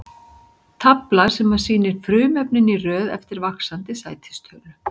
Tafla sem sýnir frumefnin í röð eftir vaxandi sætistölu.